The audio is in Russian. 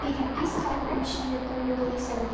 переписка обычная кроме голосовых